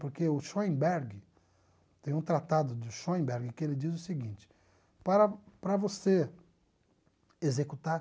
Porque o Schoenberg, tem um tratado de Schoenberg que ele diz o seguinte, para para você executar